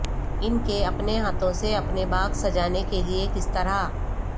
ان کے اپنے ہاتھوں سے اپنے باغ سجانے کے لئے کس طرح